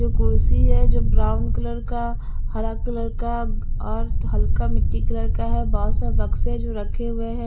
जो कुर्सी है जो ब्राउन कलर का हरा कलर का और हल्का मिट्टी कलर का है बहुत से बक्से जो रखे हुए हैं।